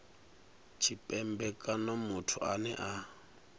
tshipembe kana muthu ane a